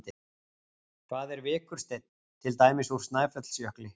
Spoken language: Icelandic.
Hvað er vikursteinn, til dæmis úr Snæfellsjökli?